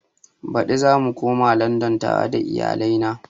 Baɗi zamu koma landan tare da iyalai na